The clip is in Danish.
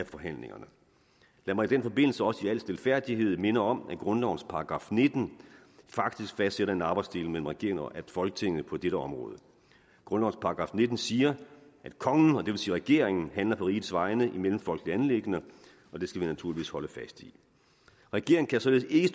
forhandlingerne lad mig i den forbindelse også i al stilfærdighed minde om at grundlovens § nitten faktisk fastsætter en arbejdsdeling mellem regeringen og folketinget på dette område grundlovens § nitten siger at kongen og det vil sige regeringen handler på rigets vegne i mellemfolkelige anliggender og det skal vi naturligvis holde fast i regeringen kan således ikke